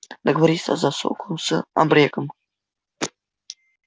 договориться за суку с абреком